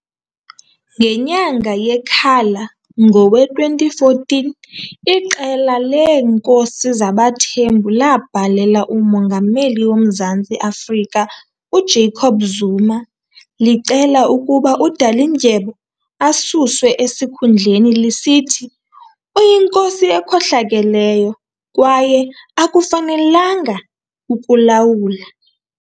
Ngenyanga yeKhala ngowe2014, iqela leenkosi zabaThembu labhalela uMongameli woMzantsi Afrika uJacob Zuma licela ukuba uDalindyebo asuswe esikhundleni, lisithi "uyinkosi ekhohlakeleyo" kwaye "akafanelanga ukulawula".